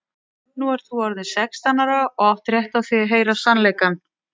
Nú ert þú orðin sextán ára og átt rétt á því að heyra sannleikann.